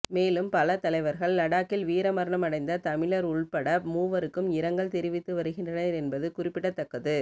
மேலும் பல தலைவர்கள் லடாக்கில் வீரமரணம் அடைந்த தமிழர் உள்பட மூவருக்கும் இரங்கல் தெரிவித்து வருகின்றனர் என்பது குறிப்பிடத்தக்கது